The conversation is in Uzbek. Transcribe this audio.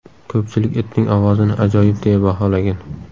Ko‘pchilik itning ovozini ajoyib deya baholagan.